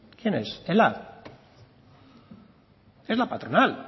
quién es ela es la patronal